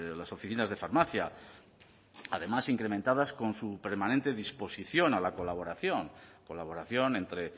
las oficinas de farmacia además incrementadas con su permanente disposición a la colaboración colaboración entre